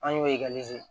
An y'o ese